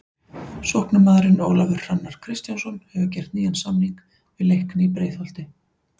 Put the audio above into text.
Sóknarmaðurinn Ólafur Hrannar Kristjánsson hefur gert nýjan samning við Leikni í Breiðholti.